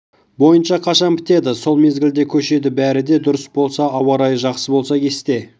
бойынша қашан бітеді сол мезгілде көшеді бәрі де дұрыс болса ауа райы жақсы болса кесте